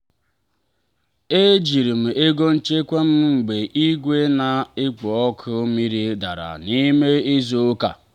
ejiri m ego nchekwa m mgbe igwe na-ekpo ọkụ mmiri dara n'ime izu ụka.